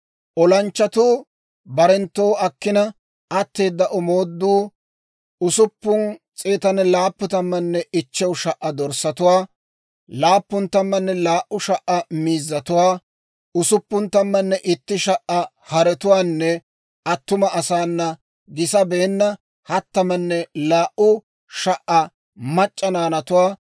Olanchchatuu barenttoo akkina, atteeda omooduu 675,000 dorssatuwaa, 72,000 miizzatuwaa, 61,000 haretuwaanne attuma asaana gisabeenna 32,000 mac'c'a naanatuwaa.